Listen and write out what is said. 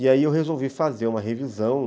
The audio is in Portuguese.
E aí eu resolvi fazer uma revisão.